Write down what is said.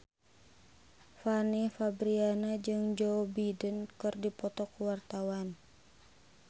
Fanny Fabriana jeung Joe Biden keur dipoto ku wartawan